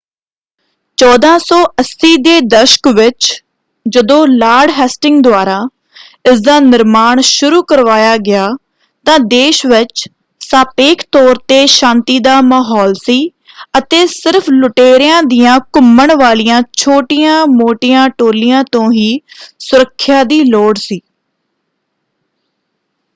1480 ਦੇ ਦਸ਼ਕ ਵਿੱਚ ਜਦੋਂ ਲਾਰਡ ਹੈਸਟਿੰਗ ਦੁਆਰਾ ਇਸਦਾ ਨਿਰਮਾਣ ਸ਼ੁਰੂ ਕਰਵਾਇਆ ਗਿਆ ਤਾਂ ਦੇਸ਼ ਵਿੱਚ ਸਾਪੇਖ ਤੌਰ ‘ਤੇ ਸ਼ਾਂਤੀ ਦਾ ਮਾਹੌਲ ਸੀ ਅਤੇ ਸਿਰਫ਼ ਲੁਟੇਰਿਆਂ ਦੀਆਂ ਘੁੰਮਣ ਵਾਲੀਆਂ ਛੋਟੀਆਂ-ਮੋਟੀਆਂ ਟੋਲੀਆਂ ਤੋਂ ਹੀ ਸੁਰੱਖਿਆ ਦੀ ਲੋੜ ਸੀ।